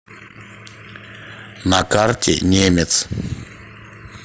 на карте немец